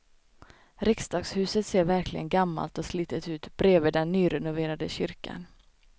Riksdagshuset ser verkligen gammalt och slitet ut bredvid den nyrenoverade kyrkan.